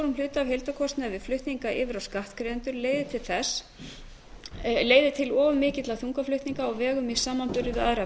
hluta af heildarkostnaði við flutningana yfir á skattgreiðendur leiðir til of mikilla þungaflutninga á vegum í samanburði við aðra